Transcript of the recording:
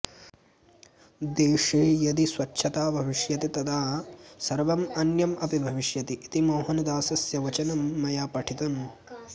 देशे यदि स्वच्छता भविष्यति तदा सर्वम् अन्यम् अपि भविष्यति इति मोहनदासस्य वचनं मया पठितम्